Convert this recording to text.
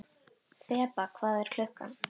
Þeba, hvað er klukkan?